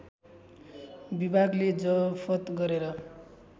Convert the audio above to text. विभागले जफत गरेर